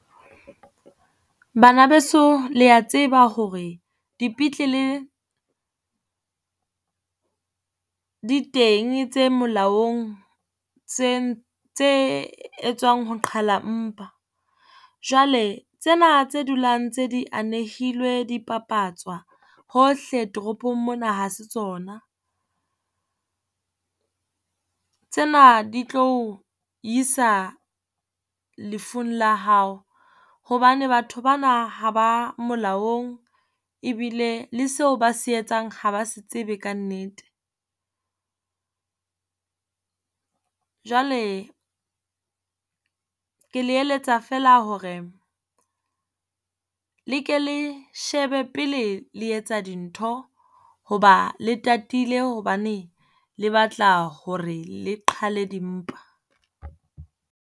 Bana beso le ya tseba hore dipetlele di teng tse molaong, tse tse etswang ho qhala mpa. Jwale tsena tse dulang ntse di anehilwe di papatswa hohle toropong mona ha se tsona. Tsena di tlo o isa lefung la hao hobane batho ba na ha ba molaong ebile le seo ba se etsang ha ba se tsebe kannete. Jwale ke le eletsa feela hore le ke le shebe pele le etsa dintho, hoba le tatile hobane le batla hore le qhale dimpa.